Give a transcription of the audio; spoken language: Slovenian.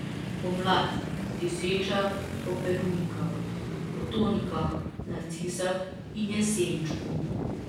Pomlad, dišeča po perunikah, potonikah, narcisah in jesenčku.